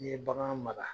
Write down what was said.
N'i ye bagan mara